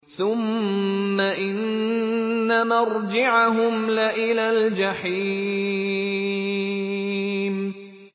ثُمَّ إِنَّ مَرْجِعَهُمْ لَإِلَى الْجَحِيمِ